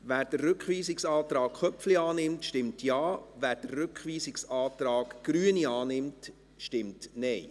Wer den Rückweisungsantrag Köpfli annimmt, stimmt Ja, wer den Rückweisungsantrag Grüne annimmt, stimmt Nein.